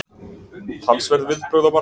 Talsverð viðbrögð á markaði